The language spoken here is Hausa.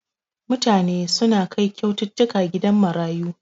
Mutane suna kai kyaututtuka gidan marayu.